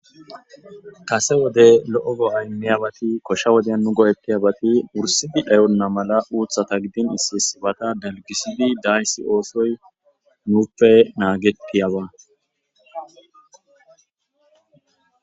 Kase wode lo'o go'ay diyabati koshsha woden nu go'etiyabati wursidi dhayonna malla uuththata gidin issi issibata dalgisidi daayssi oosoy nuuppe naagetiyaba